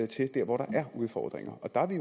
til der hvor der er udfordringer og der er vi